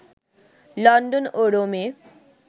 London ও রোমে